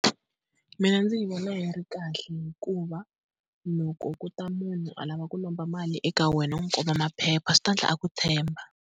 Mina ndzi yi vona yi ri kahle hikuva loko ku ta munhu a lava ku lomba mali eka wena, u n'wi komba maphepha swi ta endla a ku tshemba.